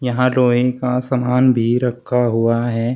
यहां लोहे का सामान भी रखा हुआ है।